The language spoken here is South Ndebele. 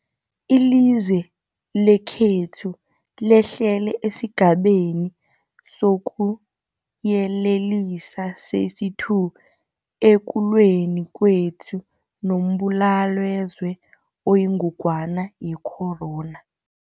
Ilizwe lekhethu lehlele esiGabeni sokuYelelisa sesi-2 ekulweni kwethu nombulalazwe oyingogwana ye-corona.